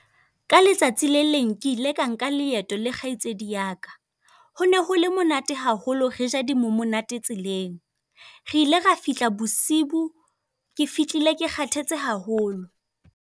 Ka letsatsi le leng ke ile ka nka leeto le kgaitsedi ya ka. Hone hole monate haholo, re ja di mo monate tseleng. Re ile ra fihla bosiu, ke fihlile ke kgathetse haholo.